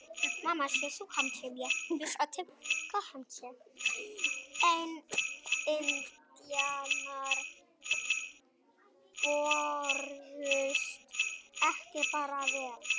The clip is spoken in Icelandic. En indjánar börðust ekki bara vel.